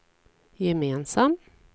gemensam